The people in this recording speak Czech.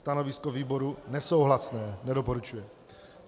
Stanovisko výboru nesouhlasné, nedoporučuje.